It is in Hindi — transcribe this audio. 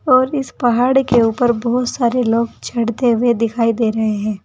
और इस पहाड़ के ऊपर बहोत सारे लोग चढ़ते हुए दिखाई दे रहे हैं।